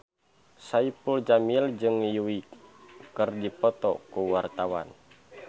Saipul Jamil jeung Yui keur dipoto ku wartawan